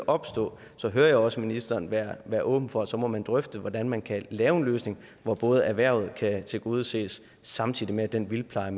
opstå så hører jeg også ministeren være være åben for at så må man drøfte hvordan man kan lave en løsning hvor hvor erhvervet kan tilgodeses samtidig med at den vildtpleje